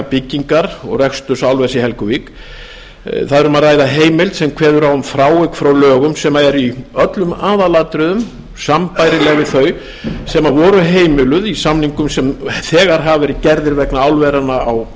byggingar og reksturs álvers í helguvík um er að ræða heimild sem kveður á um frávik frá lögum sem eru í öllum aðalatriðum sambærileg við þau sem heimiluð voru í samningum sem gerðir voru vegna álveranna á